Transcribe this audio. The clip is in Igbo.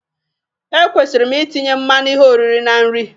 Ekwesịrị m itinye mmanụ ihe oriri na nri?